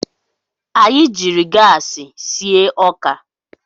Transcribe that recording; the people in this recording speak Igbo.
Anyị jiri gaasị sie ọka.